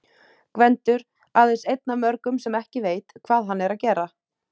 Gvendur- aðeins einn af mörgum sem ekki veit, hvað hann er að gera.